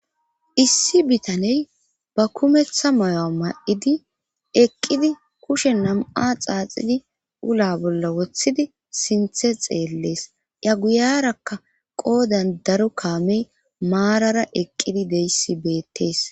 Issi bitaney ba kumetha mayo7a ma7idi eqqidi kushe nam7a xaaxidi ula bolla wothidi sinthe xeellees ya guyarakka qoodan daro kaamey maarara eqqidi deyssi beettees